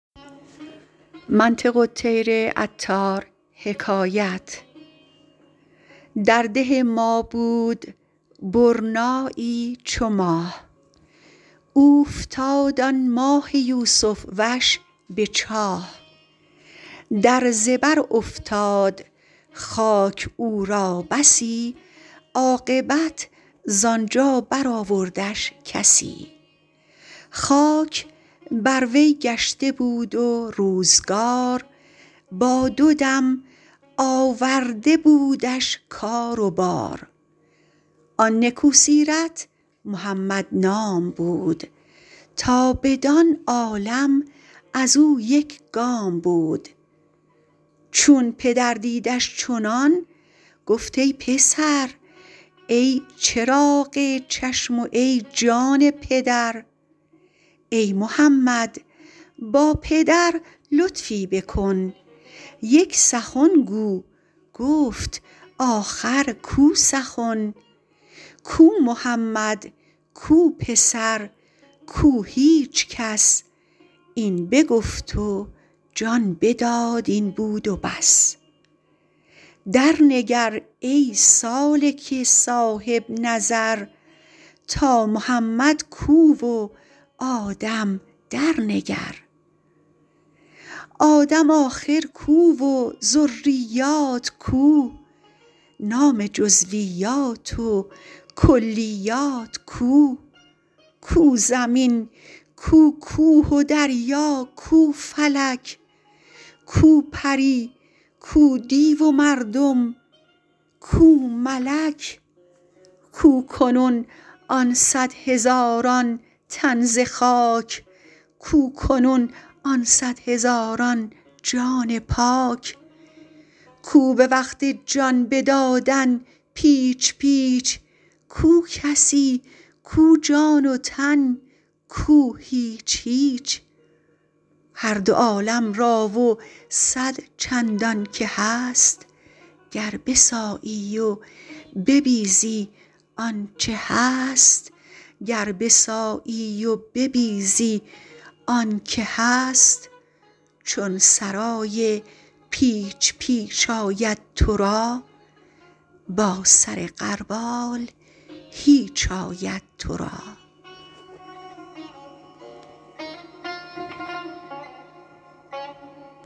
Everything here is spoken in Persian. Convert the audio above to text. در ده ما بود برنایی چو ماه اوفتاد آن ماه یوسف وش به چاه در زبر افتاد خاک او را بسی عاقبت ز آنجا بر آوردش کسی خاک بر وی گشته بود و روزگار با دو دم آورده بودش کار و بار آن نکو سیرت محمد نام بود تا بدان عالم ازو یک گام بود چون پدر دیدش چنان گفت ای پسر ای چراغ چشم وای جان پدر ای محمد با پدر لطفی بکن یک سخن گو گفت آخر کو سخن کو محمد کو پسر کو هیچ کس این بگفت و جان بداد این بود و بس درنگر ای سالک صاحب نظر تا محمد کو و آدم درنگر آدم آخر کو و ذریات کو نام جزویات و کلیات کو کو زمین کو کوه و دریا کو فلک کو پری کو دیو و مردم کو ملک کو کنون آن صد هزاران تن زخاک کو کنون آن صد هزاران جان پاک کو به وقت جان بدادن پیچ پیچ کو کسی کو جان و تن کو هیچ هیچ هر دو عالم را و صد چندان که هست گر بسایی و ببیزی آنک هست چون سرای پیچ پیچ آید ترا با سر غربال هیچ آید ترا